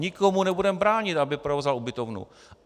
Nikomu nebudeme bránit, aby provozoval ubytovnu.